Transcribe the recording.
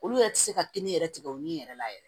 Olu yɛrɛ tɛ se ka kini yɛrɛ tigɛ u ni yɛrɛ la yɛrɛ